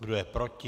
Kdo je proti?